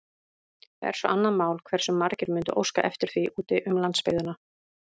Það er svo annað mál, hversu margir mundu óska eftir því úti um landsbyggðina.